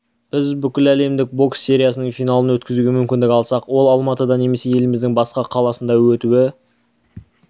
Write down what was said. біз бүкіл әлемдік бокс сериясының финалын өткізуге мүмкіндік алсақ ол алматыда немесе еліміздің басқа қаласында өтуі